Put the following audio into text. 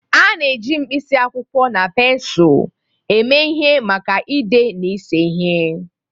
A na-eji pensụl na pensụl eme ihe maka ide na ịse ihe.